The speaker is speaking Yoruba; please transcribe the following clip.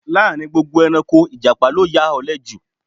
Láàrin gbogbo ẹranko, ìjàpá ló ya òle ju